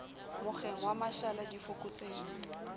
mokgeng wa mashala di fokotsehile